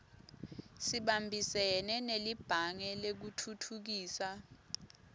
sibambisene nelibhange lekutfutfukisa